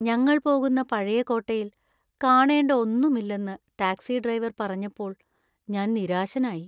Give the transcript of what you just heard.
ഞങ്ങൾ പോകുന്ന പഴയ കോട്ടയിൽ കാണേണ്ട ഒന്നുമില്ലെന്ന് ടാക്സി ഡ്രൈവർ പറഞ്ഞപ്പോൾ ഞാൻ നിരാശനായി.